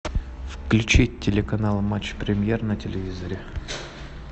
включить телеканал матч премьер на телевизоре